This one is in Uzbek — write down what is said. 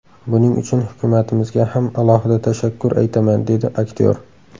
Buning uchun hukumatimizga ham alohida tashakkur aytaman”, dedi aktyor.